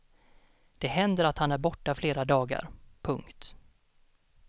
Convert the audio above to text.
Det händer att han är borta flera dagar. punkt